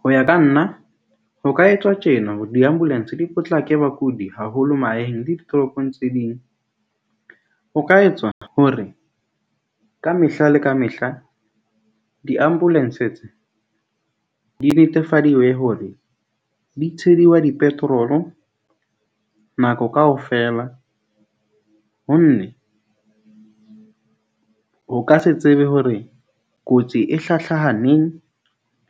Ho ya ka nna, ho ka etswa tjena hore di-ambulance di potlake bakudi, haholo mahaeng le ditoropong tse ding. Ho ka etswa hore kamehla le kamehla di- ambulance tse di netefadiwe hore di tsheliwa di-petrol-o nako kaofela. Ho nne ho ka se tsebe hore kotsi e hlahlaha neng